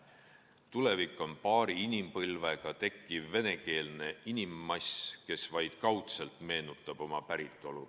Tulevik on paari inimpõlvega tekkiv venekeelne inimmass, kes vaid kaudselt meenutab oma päritolu.